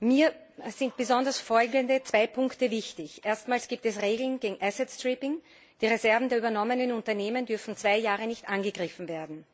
Mir sind besonders folgende zwei Punkte wichtig Erstmals gibt es Regeln gegen asset stripping die Reserven der übernommenen Unternehmen dürfen zwei Jahre nicht angegriffen werden.